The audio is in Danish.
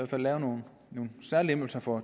fald lave nogle særlempelser for